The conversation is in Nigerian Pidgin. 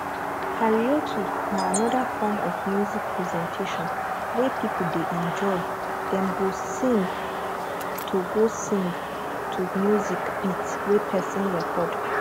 karaoke na anoda form of music presentation wey pipo dey enjoy dem go sing to go sing to music beat wey person record